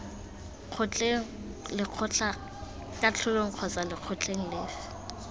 kgotleng lekgotlakatlholong kgotsa lekgotleng lefe